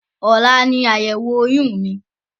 Ọ̀la ní àyẹ̀wò oyún mi.